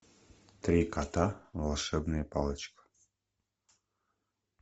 три кота волшебная палочка